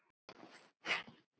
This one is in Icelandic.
Minning hans mun lengi lifa.